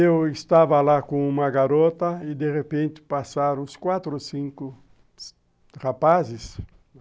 E eu estava lá com uma garota e, de repente, passaram os quatro ou cinco rapazes.